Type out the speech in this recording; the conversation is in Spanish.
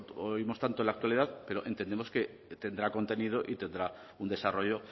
lo oímos tanto en la actualidad pero entendemos que tendrá contenido y tendrá un desarrollo